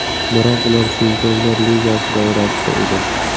Biroq ular chempionlar ligasi doirasida edi.